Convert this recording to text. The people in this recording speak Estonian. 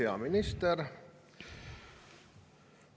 Hea minister!